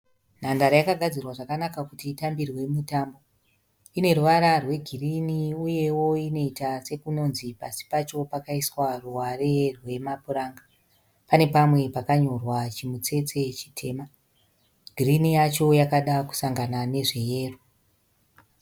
Nhandare yakagadzirwa zvakanaka kuti itambirwe mitambo ine ruvara rwegirini uyewo inoita sekunonzi pasi pacho pakaiswa ruware rwemapuranga, pane pamwe pakanyorwa chimutsetse chitema girini yacho yakada kusangana nezve yero.